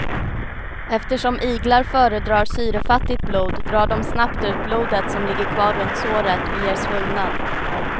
Eftersom iglar föredrar syrefattigt blod drar de snabbt ut blodet som ligger kvar runt såret och ger svullnad.